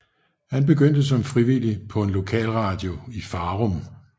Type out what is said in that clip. Han begyndte som frivillig på en lokalradio i Farum